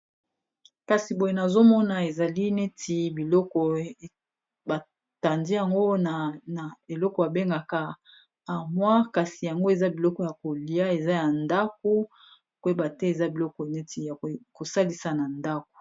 Kasi boye nazomona ezali neti biloko ebatandi yango na eloko abengaka amwa kasi yango eza biloko ya kolia eza ya ndako koyeba te eza biloko neti ya kosalisa na ndako.